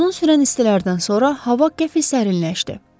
Uzun sürən istilərdən sonra hava qəti sərinləşdi.